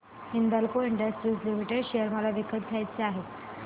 Hindalco industries limited share मला विकत घ्यायचे आहेत